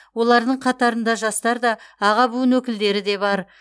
олардың қатарында жастар да аға буын өкілдері де бар